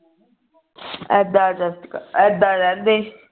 ਐਦਾ ਐਦਾ ਰਹਿੰਦੇ